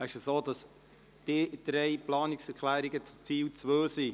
Es ist so, dass sich diese drei Planungserklärungen auf Ziel 2 beziehen.